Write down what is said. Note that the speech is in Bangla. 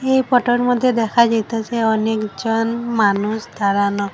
এই ফটোর মধ্যে দেখা যাইতাসে অনেকজন মানুষ দাঁড়ানো।